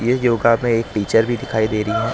ये योगा में एक टीचर भी दिखाई दे रही--